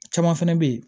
Caman fɛnɛ bɛ ye